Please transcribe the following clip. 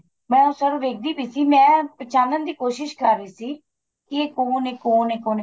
ਮੈਂ sir ਵੇਖਦੀ ਪਈ ਸੀ ਮੈਂ ਪਹਿਚਾਨਣ ਦੀ ਕੋਸ਼ਿਸ ਕਰ ਰਹੀ ਸੀ ਕੀ ਕੋਣ ਏ ਕੋਣ ਏ ਕੋਣ ਏ ਕੋਣ ਏ